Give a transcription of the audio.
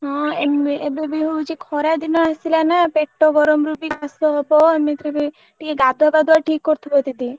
ହଁ ଏବେବି ହଉଛି ଖରା ଦିନ ଆସିଲା ନା ପେଟ ଗରମରୁ କାଶ ହବ ଏମିତିରେ ବି ଟିକେ ଗାଧୁଆ ପାଧୁଆ ଠିକ କରୁଥିବ ଦିଦି।